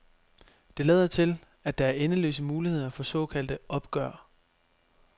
Det lader til, at der er endeløse muligheder for såkaldte opgør.